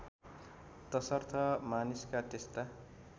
तसर्थ मानिसका त्यस्ता